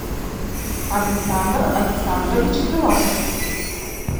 александр александрович филатов